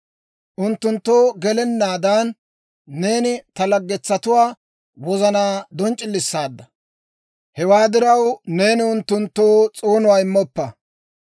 Unttunttoo gelennaadan, neeni ta laggetsatuwaa wozanaa donc'c'ilisaadda. Hewaa diraw, neeni unttunttoo s'oonuwaa immoppa.